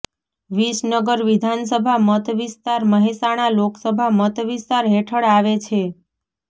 વિસનગર વિધાનસભા મત વિસ્તાર મહેસાણા લોકસભા મત વિસ્તાર હેઠળ આવે છે